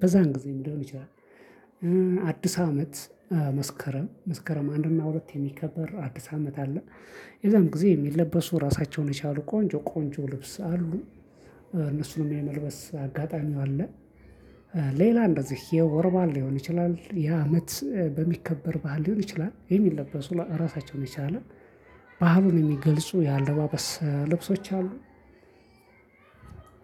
በዛን ጊዜ ሊሆን ይችላል። አዲስ አመት መስከረም መስከረም አንድ እና ሁለት የሚከበር አዲስ አመት አለ። ያዛን ጊዜ የሚለበሱ ራሳቸውን የቻሉ ቆንጆ ቆንጆ ልብስ አሉ። እነሱንም የመልበስ አጋጣሚ አለ። ሌላ እንደዚህ የወር ባል ሊሆን ይችላል የአመት በሚከበር ባህል ሊሆን ይችላል የሚለበሱ ራሳቸውን የቻለ ባህሉን የሚገልጹ የአለባበስ ልብሶች አሉ።